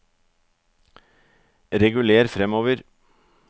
reguler framover